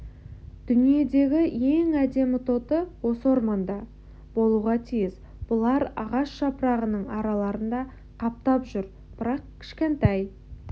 дүниедегі ең әдемі тоты осы орманда болуға тиіс бұлар ағаш жапырағының араларында қаптап жүр бірақ кішкентай